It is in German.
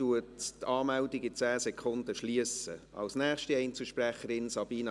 In 10 Sekunden schliesse ich die Rednerliste.